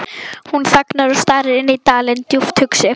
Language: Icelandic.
Hún þagnar og starir inn dalinn, djúpt hugsi.